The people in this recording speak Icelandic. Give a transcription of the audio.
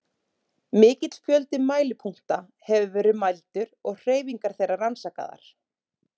Mikill fjöldi mælipunkta hefur verið mældur og hreyfingar þeirra rannsakaðar.